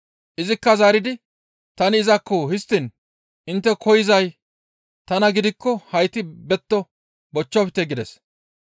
Izikka zaaridi, «Tani izakko; histtiin intte koyzay tana gidikko hayti betto bochchofte» gides.